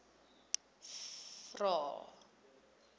vvvvrae